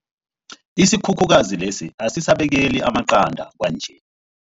Isikhukhukazi lesi asisabekeli amaqanda kwanje.